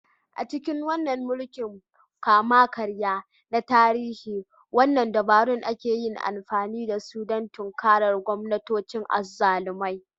A cikin mulkin kama-karya na tarihi, waɗanne dabaru aka yi amfani da su don tinkarar gwamnatocin azzalumai?